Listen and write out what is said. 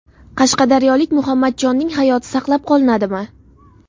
Qashqadaryolik Muhammadjonning hayoti saqlab qolinadimi?.